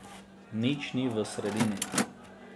Nič ni v sredini.